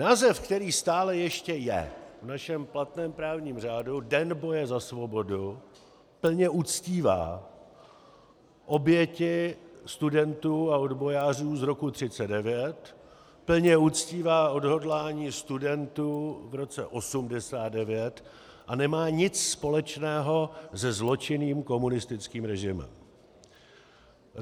Název, který stále ještě je v našem platném právním řádu, Den boje za svobodu, plně uctívá oběti studentů a odbojářů z roku 1939, plně uctívá odhodlání studentů v roce 1989 a nemá nic společného se zločinným komunistickým režimem.